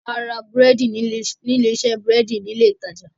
A ra búrẹ́dì ní ilé iṣẹ́ búrẹ́dì ní ilé ìtajà